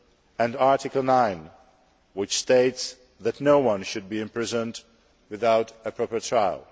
and Article 9, which states that no one should be imprisoned without a proper trial.